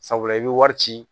Sabula i bɛ wari ci